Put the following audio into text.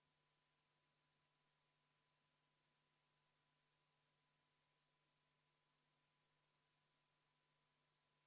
Kui nüüd lähtuda sellest loogikast, et me peaksime väga selgelt hierarhiliselt lähtuma, kellel on see eelnõude ja arupärimiste esitamise eelisõigus, siis me oleme selle istungi jooksul näinud ka väga palju eelnõusid, mille on esitanud fraktsioonid.